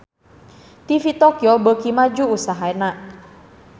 TV Tokyo beuki maju usahana